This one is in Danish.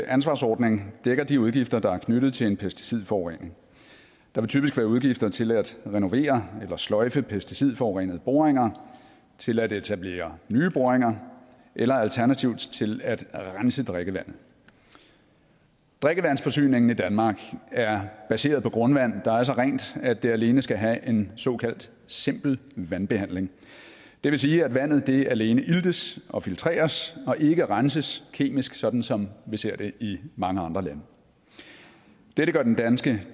ansvarsordning dækker de udgifter der er knyttet til en pesticidforurening der vil typisk være udgifter til at renovere eller sløjfe pesticidforurenede boringer til at etablere nye boringer eller alternativt til at rense drikkevandet drikkevandsforsyningen i danmark er baseret på grundvand der er så rent at det alene skal have en såkaldt simpel vandbehandling det vil sige at vandet alene iltes og filtreres og ikke renses kemisk sådan som vi ser det i mange andre lande dette gør den danske